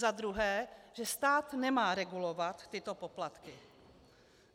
Za druhé, že stát nemá regulovat tyto poplatky.